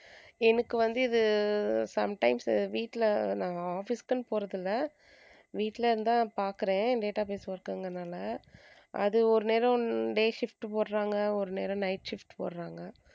எனக்கு வந்து இது sometimes வீட்ல நான் office குன்னு போறதில்லை வீட்ல இருந்துதான் பாக்கறேன் database work க்குங்கிறதுனால அது ஒரு நேரம் day shift போடறாங்க ஒரு நேரம் night shift போடறாங்க.